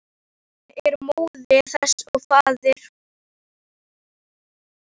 Jörðin er móðir þess og faðir.